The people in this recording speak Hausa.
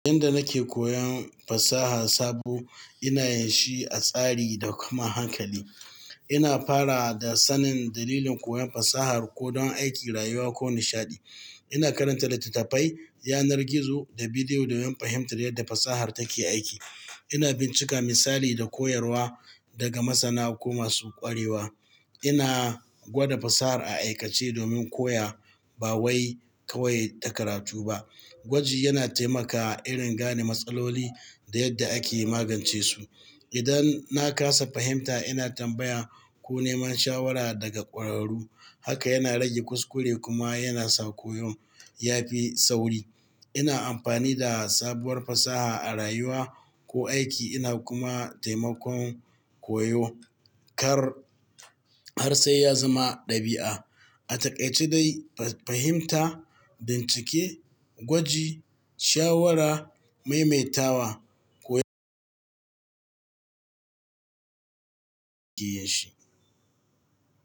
Inda nake koyon fasaha sabo, ina yin shi a tsari da kuma hankali. Ina fara da sanin dalilin koyon fasahar, ko don aiki, rayuwa ko nishaɗi. Ina karanta littattafai, yanar gizo da bidiyo domin fahimtar yadda fasahar take aiki. Ina bincika misali da koyarwa daga masana ko masu ƙwarewa. Ina gwada fasahar a aikace domin koya ba wai kawai in ta karatu ba. Gwaji yana taimakawa irin gane matsaloli da yadda ake magance su. Idan na kasa fahimta, ina tambaya ko neman shawara daga ƙwararru. Haka yana rage kuskure kuma yana sa koyon ya fi sauri. Ina amfani da sabuwar fasaha a rayuwa ko aiki ina kuma taimakon koyo kar har sai ya zama ɗabi'a. A taƙaice dai, fahimta, bincike, gwaji, shawara, maimaitawa, koyo shi ya shi.